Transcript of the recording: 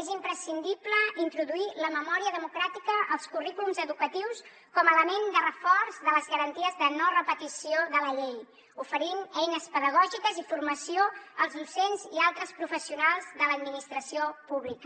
és imprescindible introduir la memòria democràtica als currículums educatius com a element de reforç de les garanties de no repetició de la llei oferint eines pedagògiques i formació als docents i altres professionals de l’administració pública